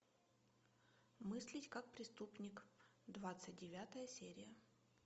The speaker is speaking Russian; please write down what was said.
мыслить как преступник двадцать девятая серия